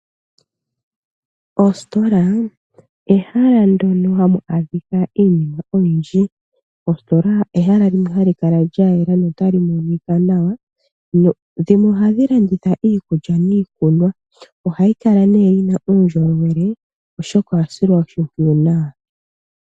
Ositola ehala ndono hamu adhika iinima oyindji. Ositola ehala limwe hali kala lya yela no tali monika nawa. Ohadhi landitha iikulya niikunwa. Ohayi kala nee yina uundjolowele oshoka oya silwa oshimpwiyu nawa.